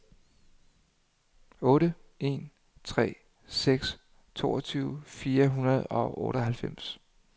otte en tre seks toogtyve fire hundrede og otteoghalvfems